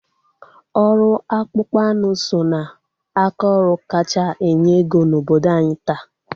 Ọrụ akpụkpọ anụ so ná aka ọrụ kacha enye ego na obodo anyị taa.